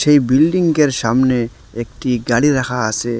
এই বিল্ডিংগের সামনে একটি গাড়ি রাখা আসে।